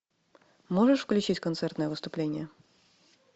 можешь включить концертное выступление